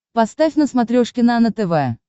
поставь на смотрешке нано тв